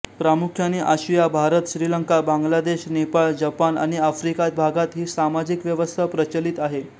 प्रामुख्याने आशिया भारत श्रीलंका बांगलादेश नेपाळ जपान आणि आफ्रिका भागात ही सामाजिक व्यवस्था प्रचलित आहे